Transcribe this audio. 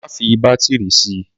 Má fi bátírì sì.